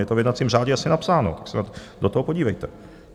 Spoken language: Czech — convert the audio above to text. Je to v jednacím řádě jasně napsáno, tak se do toho podívejte.